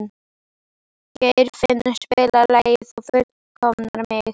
Geirfinnur, spilaðu lagið „Þú fullkomnar mig“.